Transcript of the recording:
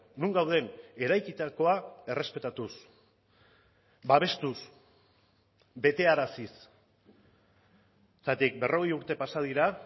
non gauden eraikitakoa errespetatuz babestuz betearaziz zergatik berrogei urte pasa dira